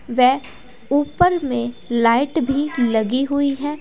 वे ऊपर में लाइट भी लगी हुई है।